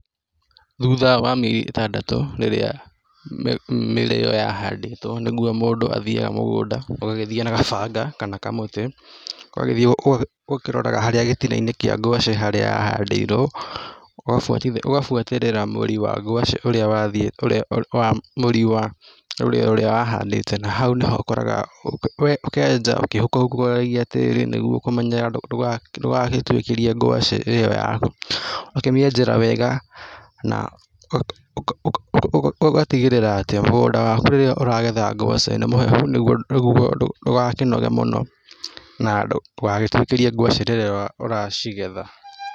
Thutha wa mĩeri ĩtandatũ rĩrĩa mĩrĩo yahandĩtwo nĩguo mũndũ athiaga mũgũnda, ũgagĩthiĩ na kabanga kana kamũtĩ. ũgagĩthiĩ ũkĩroraga gĩtina-inĩ kĩa ngwacĩ harĩa yahandĩirwo, ũgabuatĩrĩra mũri waguo ũrĩa wahandĩte na hau ũkenja ũkĩhukũragia tĩĩri ũkamenyerera nĩguo ndũgagĩtuĩkĩrie ngwacĩ ĩyo. ũgakĩmenjera wega na ũgatigĩrĩra atĩ mũgũnda waku rĩrĩa ũragetha ngwacĩ nĩ mũhehu nĩguo ndũgakinoge mũno na ndũgagĩtwĩkĩrie ngwacĩ rĩrĩa ũracigetha.